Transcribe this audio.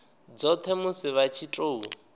dzothe musi vha tshi tou